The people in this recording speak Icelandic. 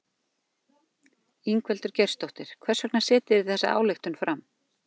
Ingveldur Geirsdóttir: Hvers vegna setjið þið þessa ályktun fram?